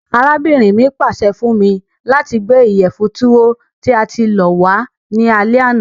Arábìnrin mi pàse fun mi lati gbé ìyẹ̀fun Tuwo tí a ti lọ̀ wa ni alẹ àná.